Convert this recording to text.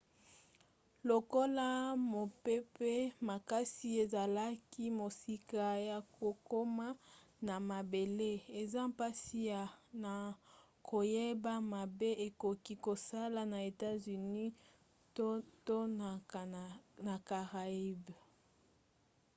lokola mopepe makasi ezalaki mosika ya kokoma na mabele eza mpasi na koyeba mabe ekoki kosala na etats-unis to na caraïbes